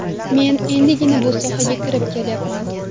Men endigina bu sohaga kirib kelyapman.